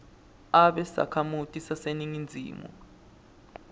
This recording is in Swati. abe sakhamuti saseningizimu